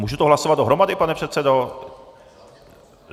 Můžu to hlasovat dohromady, pane předsedo?